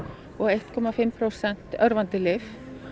og eitt og hálft prósent örvandi lyf